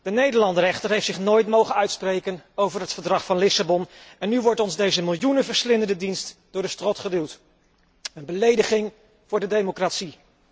De Nederlander echter heeft zich nooit mogen uitspreken over het Verdrag van Lissabon en nu wordt ons deze miljoenenverslindende dienst door de strot geduwd. Een belediging voor de democratie.